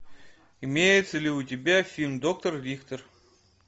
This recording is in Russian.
имеется ли у тебя фильм доктор виктор